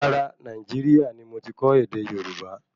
Rárá, Nàìjíríà ní mo ti kọ́ ède Yorùbá